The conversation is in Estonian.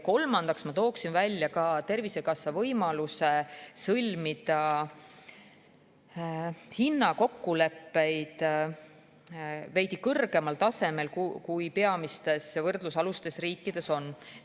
Kolmandaks toon välja Tervisekassa võimaluse sõlmida hinnakokkuleppeid veidi kõrgemal tasemel, kui need peamistes võrdlusalustes riikides on.